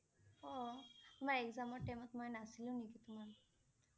অ' তোমাৰ Exam ৰ time ত মই নাছিলোঁ নেকি তোমাৰ